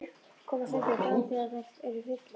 Koma stundum fram þegar þær eru fullar.